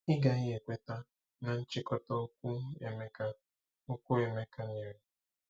Ị gaghị ekweta na nchịkọta okwu Emeka okwu Emeka nyere?